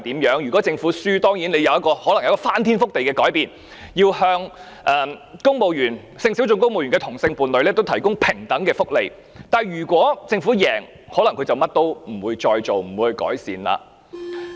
如果政府敗訴，它可能有一個翻天覆地的改變，要向性小眾公務員的同性伴侶提供平等的福利，但如果政府勝訴，它可能甚麼也不會再做，不會改善。